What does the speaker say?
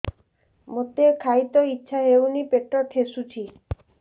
ମୋତେ ଖାଇତେ ଇଚ୍ଛା ହଉନି ପେଟ ଠେସୁଛି